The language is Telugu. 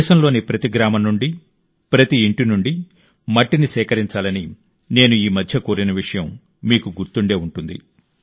దేశంలోని ప్రతి గ్రామం నుండి ప్రతి ఇంటి నుండి మట్టిని సేకరించాలని నేను ఈమధ్య కోరిన విషయం మీకు గుర్తుండే ఉంటుంది